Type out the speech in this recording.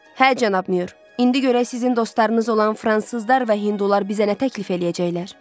Hə cənab Myur, indi görək sizin dostlarınız olan fransızlar və hindular bizə nə təklif eləyəcəklər?